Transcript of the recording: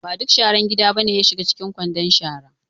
Ba duk sharar gida ba ne ya shiga cikin kwandon shara.